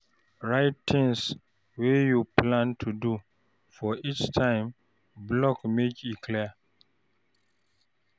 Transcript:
Write di tins wey you plan to do for each time block make e clear.